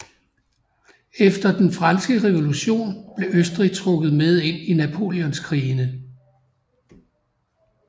Efter den franske revolution blev Østrig trukket med ind i napoleonskrigene